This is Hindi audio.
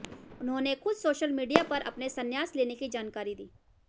उन्होंने खुद सोशल मीडिया पर अपने संन्यास लेने की जानकारी दी